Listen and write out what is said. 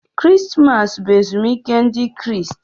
Krismas bụ ezumike Ndị Kraịst.